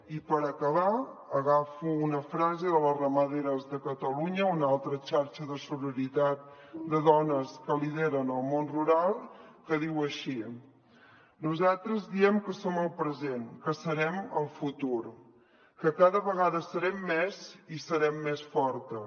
i per acabar agafo una frase de les ramaderes de catalunya una altra xarxa de sororitat de dones que lideren el món rural que diu així nosaltres diem que som el present que serem el futur que cada vegada serem més i serem més fortes